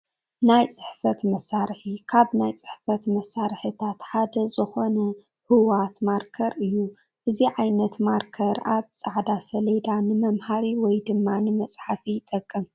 ናይ ፅሕፈት መሳርሒ፡- ካብ ናይ ፅሕፈት መሳርሕታት ሓደ ዝኾነ ሁዋት ማርከር እዩ፡፡ እዚ ዓይነት ማርከር ኣብ ፃዕዳ ሰሌዳ ንመምሃሪ ወይ ድማ ንመፅሓፊ ይጠቅም፡፡